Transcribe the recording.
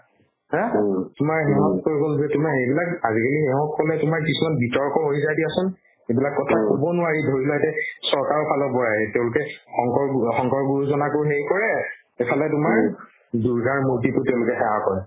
haa তোমাৰ সেহত কৈ গ'ল যে তোমাৰ সেইবিলাক আজিকালি সেহক ক'লে তোমাৰ পিছত বিতৰ্ক হৈ যায় দিয়া চোন এইবিলাক কথা ক'ব নোৱাৰি ধৰিলোৱা এতিয়া চৰকাৰৰ ফালৰ পৰায়ে তেওঁলোকে শংকৰ গু ~ শংকৰ গুৰুজনাকো সেই কৰে ইফালে তোমাৰ দূৰ্গাৰ মূৰ্তিকো তেওঁলোকে সেৱা কৰে